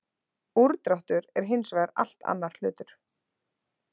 Úrdráttur er hins vegar allt annar hlutur.